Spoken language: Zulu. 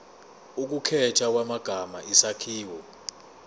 ukukhethwa kwamagama isakhiwo